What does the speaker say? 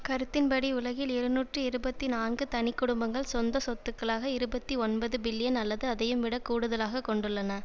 கருத்தின்படி உலகில் இருநூற்றி இருபத்தி நான்கு தனி குடும்பங்கள் சொந்த சொத்துக்களாக இருபத்தி ஒன்பது பில்லியன் அல்லது அதையும் விடக் கூடுதலாக கொண்டுள்ளன